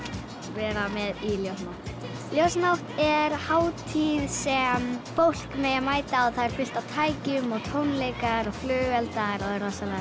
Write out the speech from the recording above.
vera með í ljósanótt ljósanótt er hátíð sem fólk má mæta á þar er fullt af tækjum tónleikar og flugeldar það er rosalega